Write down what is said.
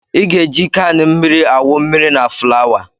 I ga-eji kan mmiri awụ mmiri na fulawa